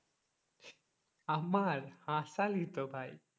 আমার হাসালি তো ভাই।